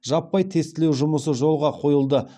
жаппай тестілеу жұмысы жолға қойылды